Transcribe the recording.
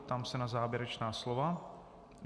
Ptám se na závěrečná slova.